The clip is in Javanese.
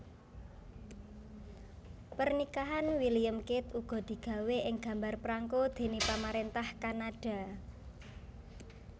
Pernikahan William Kate uga digawé ing gambar prangko déné pamaréntah Kanada